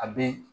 A be